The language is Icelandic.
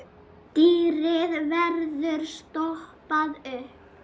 Dýrið verður stoppað upp.